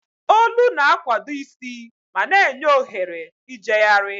Olu na-akwado isi ma na-enye ohere ijegharị.